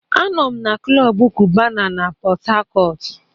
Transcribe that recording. Anọ m na klọb kubana na Pot Tarcot.